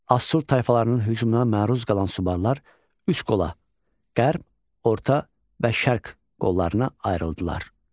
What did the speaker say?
Assur tayfalarının hücumuna məruz qalan Subarlar üç qola: qərb, orta və şərq qollarına ayrıldılar.